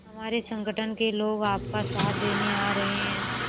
हमारे संगठन के लोग आपका साथ देने आ रहे हैं